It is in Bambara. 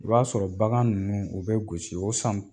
I b'a sɔrɔ bagan ninnu u bɛ gosi o san